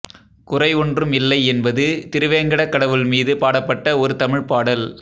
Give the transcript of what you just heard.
குறை ஒன்றும் இல்லை என்பது திருவேங்கடக் கடவுள் மீது பாடப்பட்ட ஒரு தமிழ்ப்பாடல்